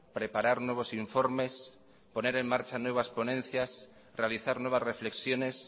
preparar nuevos informes poner en marcha nuevas ponencias realizar nuevas reflexiones